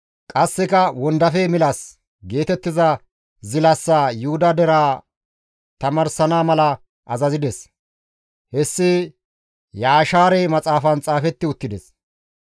Qasseka, «Wondafe milas» geetettiza zilasaa Yuhuda deraa tamaarsana mala azazides. Hessi Yashaare Maxaafan xaafeti uttides.